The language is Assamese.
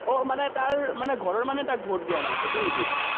আহ তাৰ মানে তাৰ ঘৰৰ মানুহে তাক ভোট দিয়া নাই, সেইটো নেকি?